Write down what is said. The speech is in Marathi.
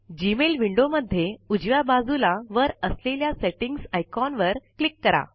जीमेल विन्डो मध्ये उजव्या बाजूला वर असलेल्या सेटिंग्ज आयकॉन वर क्लिक करा